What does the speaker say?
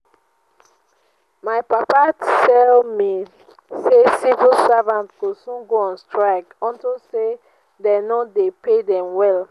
my papa tell me say civil servants go soon go on strike unto say dey no dey pay dem well